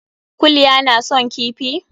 Kulya na son kifi?